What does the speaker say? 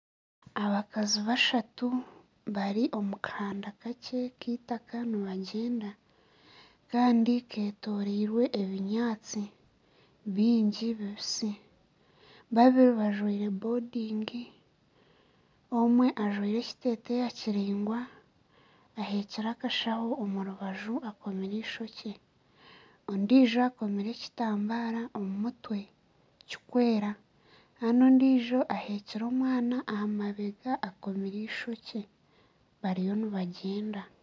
Abakazi bashatu bari omu kahanda kakye ak'itaaka nibagyenda kandi ketorirwe ebinyaatsi bingi bibisi babiri bajwaire bodingi omwe ajwaire ekiteteeya kiraingwa aheekire akashaho omu rubaju akomire eishokye ondijo akomire ekitambara omu mutwe kikwera kandi ondijo aheekire omwana aha mabega akomire eishokye bariyo nibagyenda.